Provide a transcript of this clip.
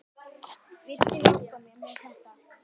Viltu hjálpa mér með þetta?